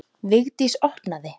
Vigdís opnaði.